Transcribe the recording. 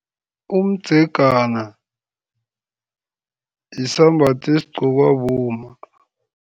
Umdzegana yisambatho esigqokiwa bomma.